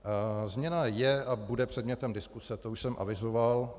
Změna je a bude předmětem diskuse, to už jsem avizoval.